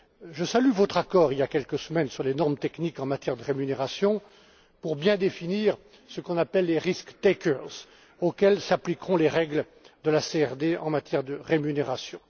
Je salue votre accord d'il y a quelques semaines sur les normes techniques en matière de rémunérations pour bien définir ce qu'on appelle les risk takers auxquels s'appliqueront les règles de la CRD en matière de rémunérations.